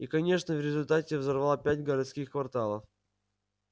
и конечно в результате взорвал пять городских кварталов